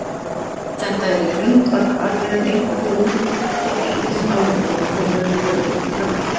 Þetta er í grundvallaratriðum einföld hugmynd þótt ýmis álitamál komi auðvitað upp í framkvæmd.